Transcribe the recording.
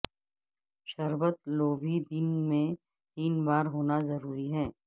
شربت لو بھی دن میں تین بار ہونا ضروری ہے